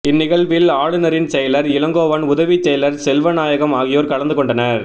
இந்நிகழ்வில் ஆளுநரின் செயலர் இளங்கோவன் உதவிச் செயலர் செல்வநாயகம் ஆகியோர் கலந்து கொண்டனர்